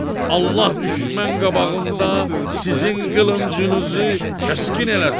Allah düşmən qabağında sizin qılıncınızı kəskin eləsin.